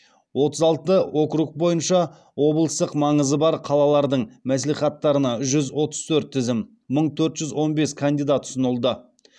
отыз алты округ бойынша облыстық маңызы бар қалалардың мәслихаттарына жүз отыз төрт тізім ұсынылды